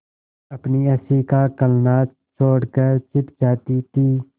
अपनी हँसी का कलनाद छोड़कर छिप जाती थीं